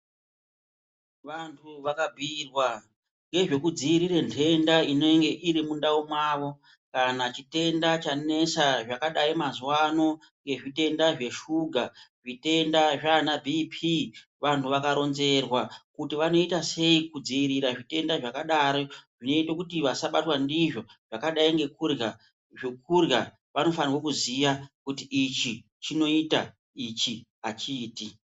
Vantu vakabiyirwa ngezvekudziyirira ndenda inenge irimundawo mawo kana chitenda chanetsa zvakadai mazuvano yezvitenda zveshuga, zvitenda zvana "BP". Vantu vakaronzerwa kuti vanoita sei kudzivirira zvitenda zvakadaro, uye tokuti vasabatwa ndizvo vakadai zokudlya vanofanigwe kuziya kuti ichi chinoyita , ichi hachiti.